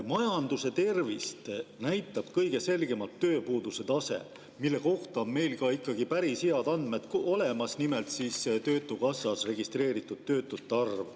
Majanduse tervist näitab kõige selgemalt tööpuuduse tase, mille kohta on meil ikkagi päris head andmed olemas, nimelt töötukassas registreeritud töötute arv.